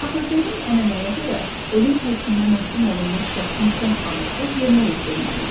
Axı qədim ənənəyə görə ölüm hökmünə məhkum olunmuş şəxsin son arzusu yerinə yetirilməli idi.